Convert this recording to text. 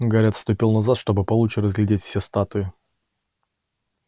гарри отступил назад чтобы получше разглядеть все статуи